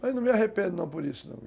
Mas não me arrependo, não, por isso, não.